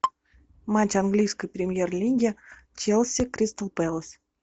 матч английской премьер лиги челси кристал пэлас